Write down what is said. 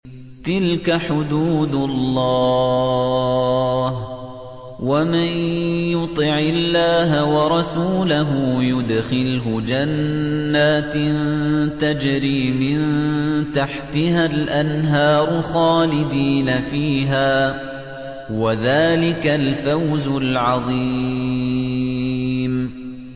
تِلْكَ حُدُودُ اللَّهِ ۚ وَمَن يُطِعِ اللَّهَ وَرَسُولَهُ يُدْخِلْهُ جَنَّاتٍ تَجْرِي مِن تَحْتِهَا الْأَنْهَارُ خَالِدِينَ فِيهَا ۚ وَذَٰلِكَ الْفَوْزُ الْعَظِيمُ